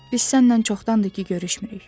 Biz səninlə çoxdandır ki, görüşmürük.